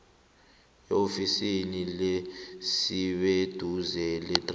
eofisini eliseduze lethrafigi